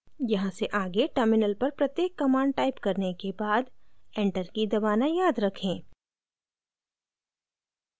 यहाँ से आगे terminal पर प्रत्येक command टाइप करने के बाद enter key दबाना याद रखें